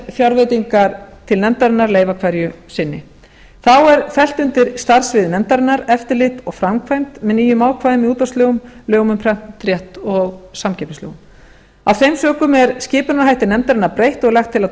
fjárveitingar til nefndarinnar leyfa hverju sinni þá er fellt undir starfssvið nefndarinnar eftirlit og framkvæmd með nýjum ákvæðum í útvarpslögum lögum um prentrétt og samkeppnislögum af þeim sökum er skipunarhætti nefndarinnar breytt og er lagt til að